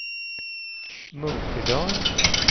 Munkedal